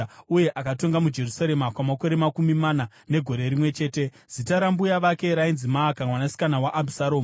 uye akatonga muJerusarema kwamakore makumi mana negore rimwe chete. Zita rambuya vake rainzi Maaka, mwanasikana waAbhisharomu.